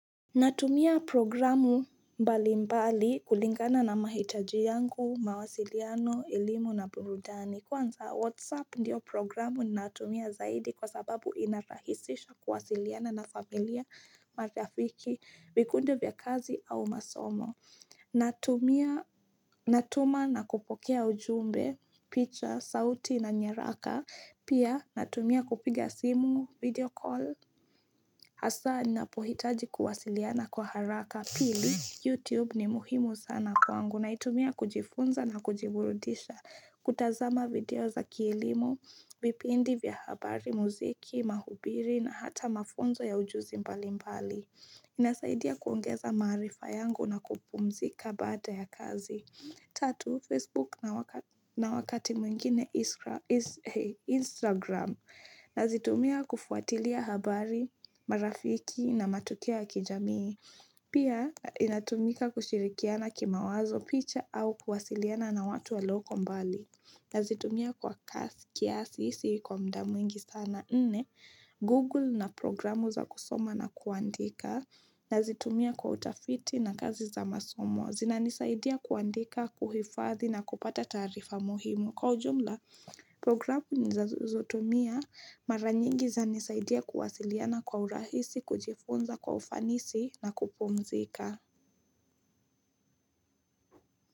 Natumia programu mbali mbali kulingana na mahitaji yangu, mawasiliano, elimu na burudani. Kwanza WhatsApp ndiyo programu natumia zaidi kwa sababu inarahisisha kuwasiliana na familia marafiki, vikundi vya kazi au masomo. Natumia natuma na kupokea ujumbe, picha, sauti na nyaraka. Pia natumia kupiga simu, video call. Asa ni napohitaji kuwasiliana kwa haraka pili, YouTube ni muhimu sana kwangu na itumia kujifunza na kujiburudisha kutazama video za kielimo, vipindi vya habari, muziki, mahubiri na hata mafunzo ya ujuzi mbali mbali. Inasaidia kuongeza maarifa yangu na kupumzika baada ya kazi. Tatu, Facebook na wakati mwingine Instagram na zitumia kufuatilia habari, marafiki na matukio ya kijamii. Pia inatumika kushirikiana kima wazo picha au kuwasiliana na watu wa lioko mbali. Nazitumia kwa kiasi si kwa mda mwingi sana nne Google na programu za kusoma na kuandika nazitumia kwa utafiti na kazi za masomo zina nisaidia kuandika, kuhifadhi na kupata taarifa muhimu Kwa ujumla programu za nazotumia maranyingi za nisaidia kuwasiliana kwa urahisi kujifunza kwa ufanisi na kupumzika.